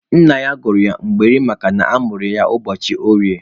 Nna ya gụrụ ya Mgborie makana a mụrụ ya ụbọchị orie.